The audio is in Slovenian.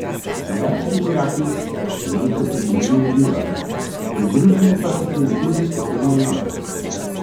Iraški vojaki se mestu približujejo z juga, pridružile pa so se jim tudi posebne enote.